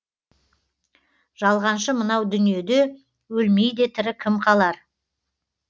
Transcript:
жалғаншы мынау дүниеде өлмей де тірі кім қалар